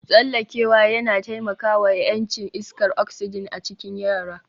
Tsallakewa yana taimaka wa ƴancin iskar oxygen a cikin yara